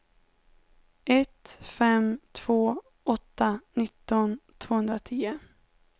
ett fem två åtta nitton tvåhundratio